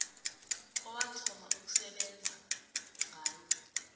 owathoma ukusebenza ngalo